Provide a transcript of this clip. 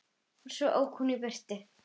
Svo ók hún í burtu.